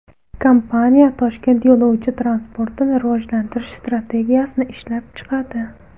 Kompaniya Toshkent yo‘lovchi transportini rivojlantirish strategiyasini ishlab chiqadi.